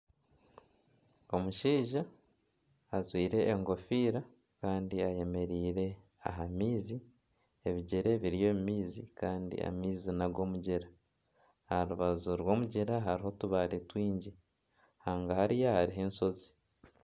omushaija ajwire engofiira kandi ayemereire aha maizi ebigyere biri omu maizi kandi amaizi ag'omugyera. Aha rubaju rw'omugyera hariho otubaare twingi hangahariya hariho enshozi.